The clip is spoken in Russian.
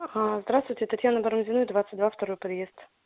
ага здравствуйте татьяна барамзиной двадцать два второй подъезд